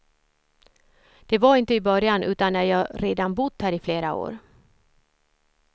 Det var inte i början utan när jag redan bott här i flera år.